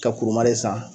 Ka kurun san